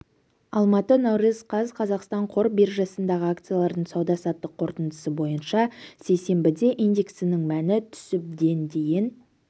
алматы наурыз қаз қазақстан қор биржасындағы акциялардың сауда-саттық қорытындысы бойынша сейсенбіде индексінің мәні түсіп ден дейін